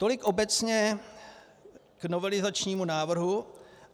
Tolik obecně k novelizačnímu návrhu.